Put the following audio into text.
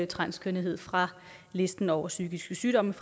transkønnethed fra listen over psykiske sygdomme